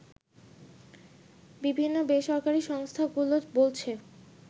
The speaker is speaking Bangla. বিভিন্ন বেসরকারি সংস্থাগুলো বলছে